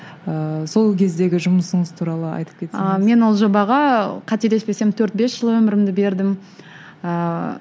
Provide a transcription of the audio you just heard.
ыыы сол кездегі жұмысыңыз туралы айтып кетсеңіз ы мен ол жобаға қателеспесем төрт бес жыл өмірімді бердім ыыы